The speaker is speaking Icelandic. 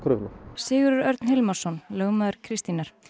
Sigurður Örn Hilmarsson lögmaður Kristínar